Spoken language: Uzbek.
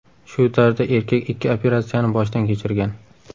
Shu tarzda erkak ikki operatsiyani boshdan kechirgan.